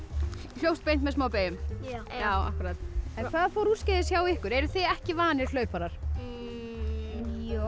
hljópst beint með smá beyjum hvað fór úrskeiðis hjá ykkur eruð þið ekki vanir hlauparar jú